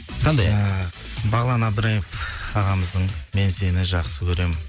қандай ән ыыы бағлан әбдірайымов ағамыздың мен сені жақсы көрем